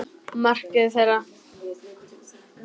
Markmið þeirra.